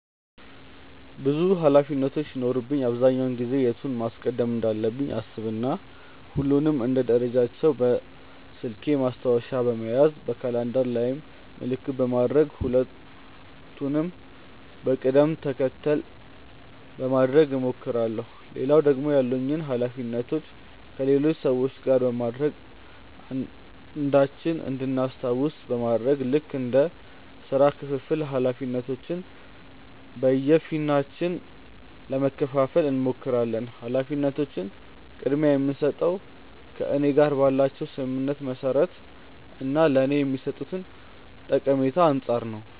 ብዙ ኃላፊነቶች ሲኖሩብኝ አብዛኛውን ጊዜ የቱን ማስቀደም እንዳለብኝ አሰብ እና ሁሉንም እንደ ደረጃቸው በስልኬ ማስታወሻ በመያዝ በካላንደር ላይም ምልክት በማድረግ ሁሉንም በቅድም ተከተል ለማድረግ እሞክራለው። ሌላው ደግሞ ያሉኝን ኃላፊነቶች ከሌሎች ሰዎች ጋር በማድረግ አንዳችን እንድናስታውስ በማድረግ ልክ እንደ ስራ ክፍፍል ኃላፊነቶችን በየፊናችን ለመከፈፋል እንሞክራለን። ኃላፊነቶችን ቅድምያ የምስጠው ከእኔ ጋር ባላቸው ስምምነት መሰረት እና ለኔ ከሚሰጡኝ ጠቀሜታ አንፃር ነው።